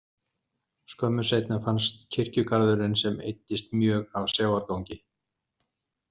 Skömmu seinna fannst kirkjugarðurinn sem eyddist mjög af sjávargangi.